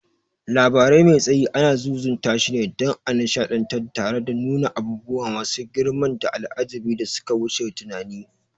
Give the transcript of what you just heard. Labari mai tsayi anan zuzutashine, dan a nishadantar tare da nuna abubuwa masu girmanda al'ajabi da suka wuce tunani.